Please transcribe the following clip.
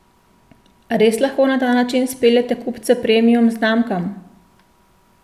Res lahko na ta način speljete kupce premium znamkam?